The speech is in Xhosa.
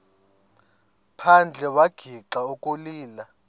phandle wagixa ukulila